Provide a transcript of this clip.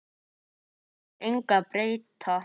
Þú vilt engu breyta.